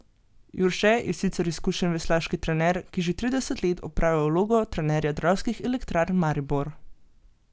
Jurše je sicer izkušen veslaški trener, ki že trideset let opravlja vlogo trenerja Dravskih elektrarn Maribor.